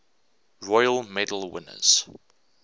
royal medal winners